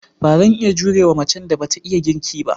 Ba zan iya jure wa macen da ba ta iya girki ba.